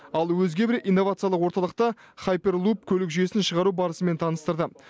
ал өзге бір инновациялық орталықта хайперлуп көлік жүйесін шығару барысымен таныстырды